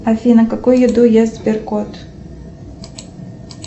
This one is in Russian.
афина какую еду ест сберкот